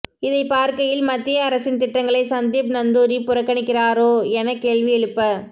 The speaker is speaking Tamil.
இதைப் பார்க்கையில் மத்திய அரசின் திட்டங்களை சந்தீப் நந்தூரி புறக்கணிக்கிறாரோ என கேள்வி எழுப்ப